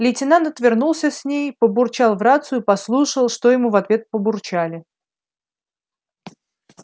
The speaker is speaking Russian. лейтенант отвернулся с ней побурчал в рацию послушал что ему в ответ побурчали